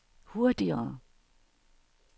hurtigere